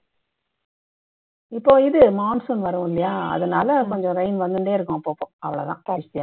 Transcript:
இப்போ இது monsoon வரும் இல்லையா அதனால rain வந்துண்டே இருக்கும் அப்பப்போ அவ்ளோ தான்